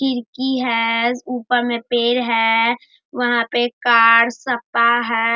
खिड़की है ऊपर में पेड़ है वहां पे एक कार सप्पा है।